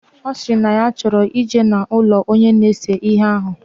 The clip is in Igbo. Osiri na ya choro ije na ulo Onye na-ese ihe ahu.